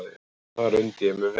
Þar undi ég mér vel.